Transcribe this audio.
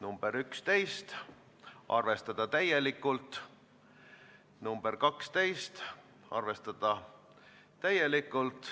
Ma kõikidest ei jõua ülevaadet anda, aga mõnest räägin siiski.